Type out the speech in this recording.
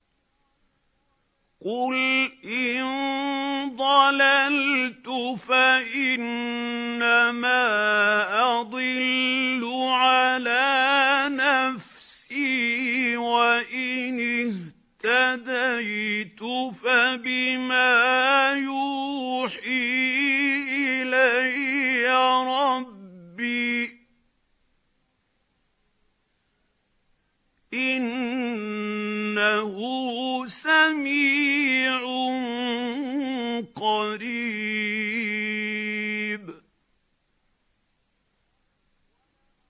قُلْ إِن ضَلَلْتُ فَإِنَّمَا أَضِلُّ عَلَىٰ نَفْسِي ۖ وَإِنِ اهْتَدَيْتُ فَبِمَا يُوحِي إِلَيَّ رَبِّي ۚ إِنَّهُ سَمِيعٌ قَرِيبٌ